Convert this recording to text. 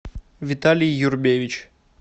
виталий юрбевич